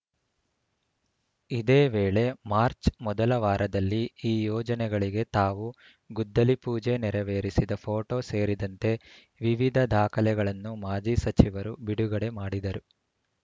ಇದೇ ವೇಳೆ ಮಾರ್ಚ್ ಮೊದಲ ವಾರದಲ್ಲಿ ಈ ಯೋಜನೆಗಳಿಗೆ ತಾವು ಗುದ್ದಲಿಪೂಜೆ ನೆರವೇರಿಸಿದ ಫೋಟೋ ಸೇರಿದಂತೆ ವಿವಿಧ ದಾಖಲೆಗಳನ್ನು ಮಾಜಿ ಸಚಿವರು ಬಿಡುಗಡೆ ಮಾಡಿದರು